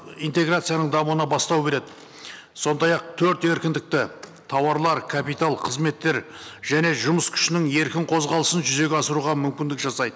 интеграцияның дамуына бастау береді сондай ақ төрт еркіндікті тауарлар капитал қызметтер және жұмыс күшінің еркін қозғалысын жүзеге асыруға мүмкіндік жасайды